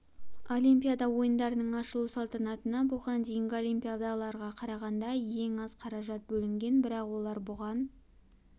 олимпиада ойындарының ашылу салтанатына бұған дейінгі олимпиадаларға қарағанда ең аз қаражат бөлінген бірақ олар бұған